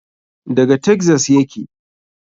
Daga taxas yake.